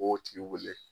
B'o tigi wele